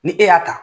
Ni e y'a ta